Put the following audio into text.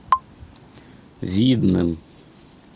видным